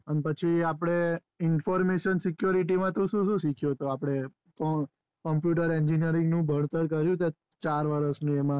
જે આપણે information security માં તું શુ શું શીખ્યો તો આપડે computer engineering ની ભણતર કર્યું તે ચાર વર્ષ ની એમાં